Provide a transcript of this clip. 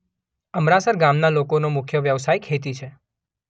અમરાસર ગામના લોકોનો મુખ્ય વ્યવસાય ખેતી છે.